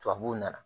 Tubabuw nana